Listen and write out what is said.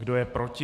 Kdo je proti?